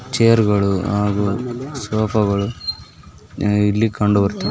ಚೇರ್ಗಳು ಹಾಗು ಸೋಫಾ ಗಳು ಇಲ್ಲಿ ಕಂಡುಬರ್ತವೇ.